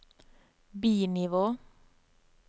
bi-nivå